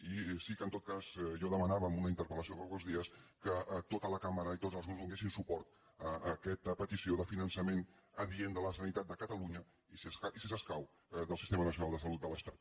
i sí que en tot cas jo demanava en una interpel·lació fa pocs dies que tota la cambra i tots els grups donessin suport a aquesta petició de finançament adient de la sanitat de catalunya i si escau del sistema nacional de salut de l’estat